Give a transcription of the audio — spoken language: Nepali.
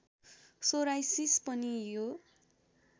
सोराइसिस पनि यो